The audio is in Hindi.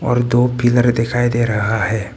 और दो फिगर दिखाई दे रहा है।